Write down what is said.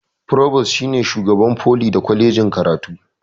forubus shine shugaban foli da kwalejin karatu